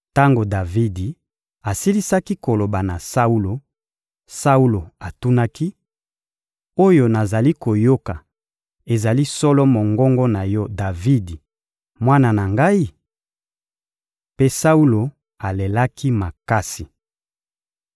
Tango Davidi asilisaki koloba na Saulo, Saulo atunaki: — Oyo nazali koyoka ezali solo mongongo na yo Davidi, mwana na ngai? Mpe Saulo alelaki makasi.